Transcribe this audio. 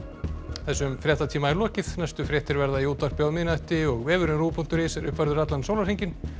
þessum fréttatíma er lokið næstu fréttir verða í útvarpi á miðnætti og vefurinn rúv punktur is er uppfærður allan sólarhringinn